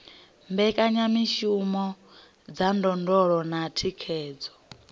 mbekanyamishumo dza ndondolo na thikhedzo